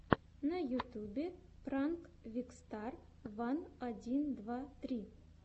на ютубе пранк викстар ван один два три